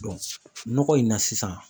nɔgɔ in na sisan.